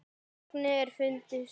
Fögnuðu er fundu svar.